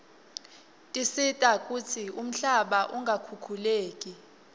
tisita kutsi umhlaba ungakhukhuleki